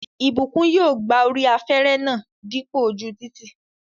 Ìbùkún yóò gba orí afẹ́rẹ́ náà dípò ojú títì